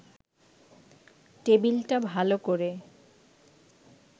টেবিলটা ভাল করে